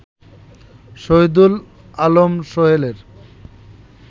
Shahidul Alam সোহেলের